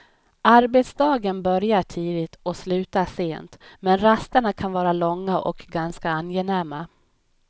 Arbetsdagen börjar tidigt och slutar sent men rasterna kan vara långa och ganska angenäma.